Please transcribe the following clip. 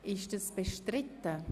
Ist das bestritten?